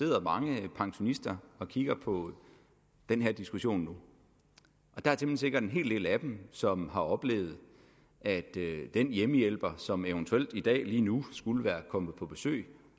sidder mange pensionister og kigger på den her diskussion nu og der er temmelig sikkert en hel del af dem som har oplevet at den hjemmehjælper som eventuelt i dag lige nu skulle være kommet på besøg